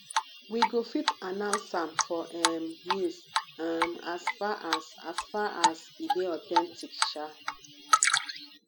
we go fit announce am for um news um as far as as far as e dey authentic um